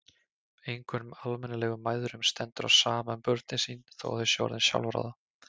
Engum almennilegum mæðrum stendur á sama um börnin sín þó að þau séu orðin sjálfráða.